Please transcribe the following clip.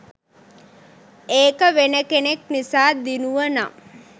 ඒක වෙන කෙනෙක් නිසා දිනුවනම්